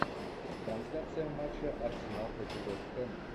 трансляция матча арсенал против вест хэма